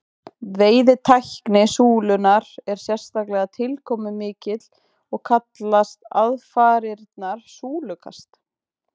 veiðitækni súlunnar er sérstaklega tilkomumikil og kallast aðfarirnar súlukast